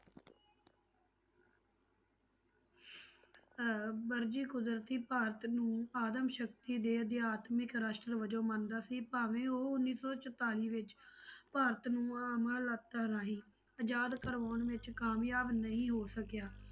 ਅਹ ਵਰਜੀ ਕੁਦਰਤੀ ਭਾਰਤ ਨੂੰ ਆਦਮ ਸ਼ਕਤੀ ਦੇ ਅਧਿਆਤਮਕ ਰਾਸ਼ਟਰ ਵਜੋਂ ਮੰਨਦਾ ਸੀ ਭਾਵੇਂ ਉਹ ਉੱਨੀ ਸੌ ਚੋਤਾਲੀ ਵਿੱਚ ਭਾਰਤ ਨੂੰ ਰਾਹੀਂ ਆਜ਼ਾਦ ਕਰਵਾਉਣ ਵਿੱਚ ਕਾਮਯਾਬ ਨਹੀਂ ਹੋ ਸਕਿਆ।